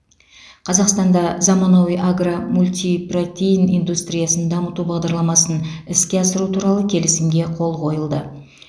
қазақстанда заманауи агро мультипротеин индустриясын дамыту бағдарламасын іске асыру туралы келісімге қол қойылды